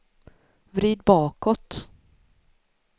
vrid bakåt